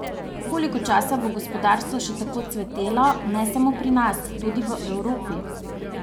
Koliko časa bo gospodarstvo še tako cvetelo, ne samo pri nas, tudi v Evropi?